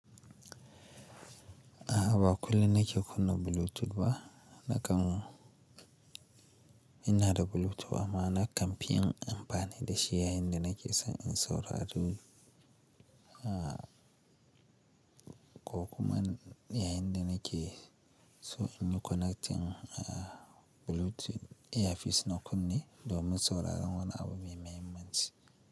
A'a, ba kullum na ke kunna Bluetooth ba. Na kam, ina da Bluetooth amma na kan fi yin amfani da shi yayinda nake son in saurari, ah, ko kuma yayinda nake, so in yi connecting a Bluetooth earpiece na kunne, domin sauraron wani abu mai mahimmanci.